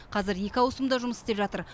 қазір екі ауысымда жұмыс істеп жатыр